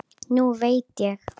Nú veit ég.